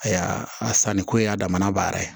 A ya a sanniko y'a damana baara ye